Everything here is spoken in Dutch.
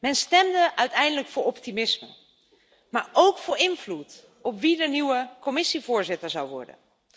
Men stemde uiteindelijk voor optimisme, maar ook voor invloed op wie de nieuwe Commissievoorzitter zou worden.